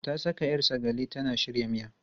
Ta saka 'yar sagale tana shirya miya.